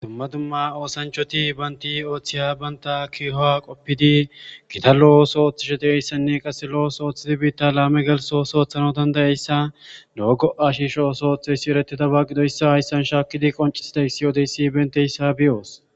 dumma dumma osanchati banti otiy banta kiyua qoppedi gita lo'o osua otidi bita lame geliso oso otanasi dandayasa lo goa shisho otiya oso eretiyaba gidiyaysa hayisan shakidi qonchisidayisi odiyayisi emetiyausi meyos.